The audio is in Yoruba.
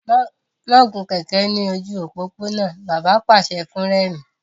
Má gun kẹ̀ẹ̀kẹ́ lójú òpópónà! Bàbá pàṣẹ fún Rẹ̀mí.